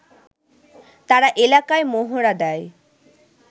তারা এলাকায় মহড়া দেয়